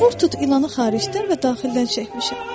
Boğa ilanı xaricdən və daxildən çəkmişəm.